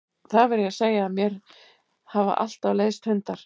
Það verð ég að segja að mér hafa alltaf leiðst hundar.